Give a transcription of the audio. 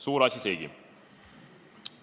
Suur asi seegi!